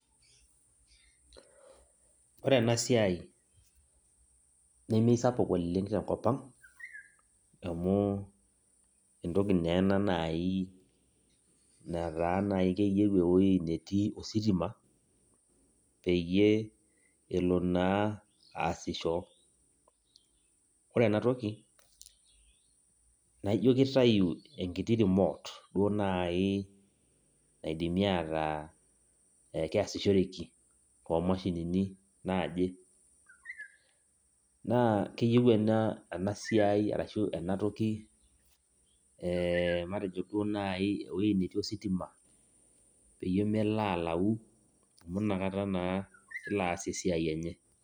Ore enasiai, nemesapuk oleng tenkop ang, amu entoki naa ena nai netaa naa keyieu ewoi netii ositima, peyie elo naa aasisho. Ore enatoki, naijo kitayu enkiti remote duo nai naidimi ataa keesishoreki tomashinini naaje. Naa keyieu enasiai arashu enatoki matejo duo nai ewoi natii ositima, peyie melo alau, amu nakata naa elo aas esiai enye.